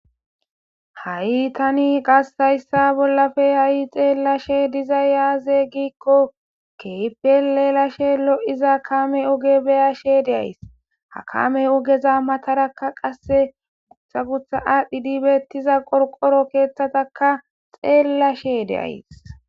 ha7i tani qas hayssa bollafe ha7i xeellashe dizay aze giikko keehipel elashe lo7iza kame oge beyashe de'ays hakame ogeza matarakka qasse gutha gutha aadhdhi dibeettiza qorqoro keeththataka xeellashe de'ays